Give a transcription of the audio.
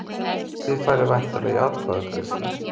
Þið farið væntanlega í atkvæðagreiðslu?